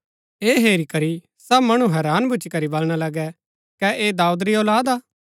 ऐह हेरी करी सब मणु हैरान भूच्ची करी बलणा लगै कै ऐह दाऊद री औलाद हा